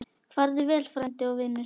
Farðu vel, frændi og vinur.